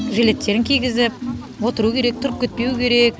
жжилеттерін кигізіп отыру керек тұрып кетпеу керек